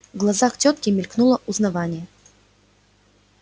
в глазах тётки мелькнуло узнавание